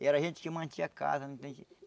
E era a gente que mantinha a casa?